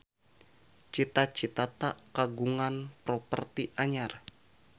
Cita Citata kagungan properti anyar